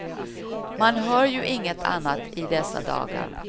Man hör ju inget annat i dessa dagar.